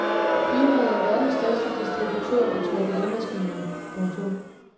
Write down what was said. Firmaet er verdens største distributør af trykkerimaskiner. punktum